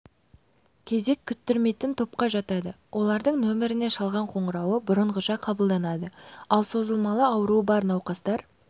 кезек күттірмейтін топқа жатады олардың номеріне шалған қоңырауы бұрынғыша қабылданады ал созылмалы ауруы бар науқастар